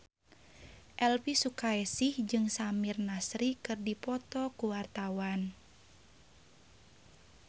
Elvy Sukaesih jeung Samir Nasri keur dipoto ku wartawan